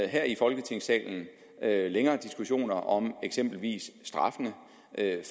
her i folketingssalen længere diskussioner om eksempelvis straffene